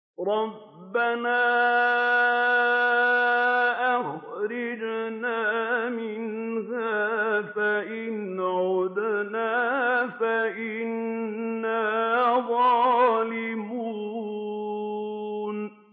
رَبَّنَا أَخْرِجْنَا مِنْهَا فَإِنْ عُدْنَا فَإِنَّا ظَالِمُونَ